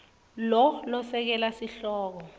lo lesekela sihloko